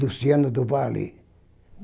Luciano do Valle.